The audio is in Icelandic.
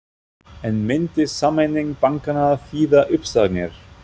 En myndi sameining bankanna þýða uppsagnir?